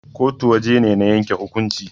kotu waje ne na yanke hukumnci